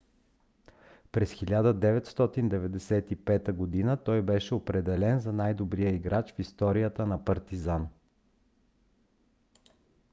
през 1995 г. той беше определен за най-добрия играч в историята на партизан